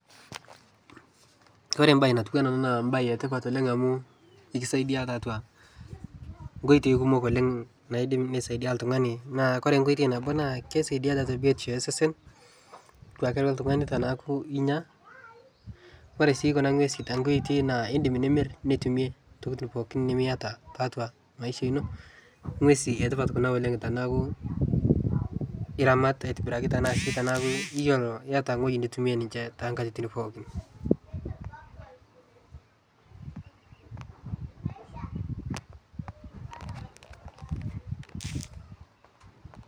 Ore embaye natiunaa an naa embaye etipat oleng amuu ekidsaidia tiatu nkoitoi kumok oleng naidim neisaidia iltungani naa kore nkoitoi nabo naa keisaidia tiatu biotisho osesen duake lo ltungani teneaku inya. Ore sii kun anguesi tenkae oitoi naa indim nimir nitumie ntokitin pookin nimieta tiatua imaisha ino. Inguesi etipat kuna oleng tanaaku iramata aitobiraki arashu iyolo, iramat ewueji nitumie ninche te nkatitin pookin.